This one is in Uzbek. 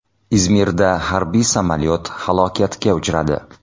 Izmirda harbiy samolyot halokatga uchradi.